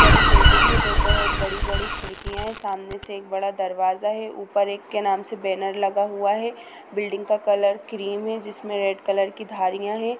बड़ी बिल्डिंग है दो बहुत बड़ी-बड़ी खिड़कियाँ है। सामने से एक बड़ा दरवाज़ा है। ऊपर एक के नाम से बैनर लगा हुआ है। बिल्डिंग का कलर क्रीम है जिसमें रेड कलर की धारियाँ है।